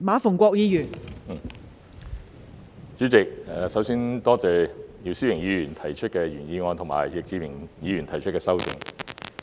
代理主席，首先感謝姚思榮議員提出的原議案，以及易志明議員提出的修正案。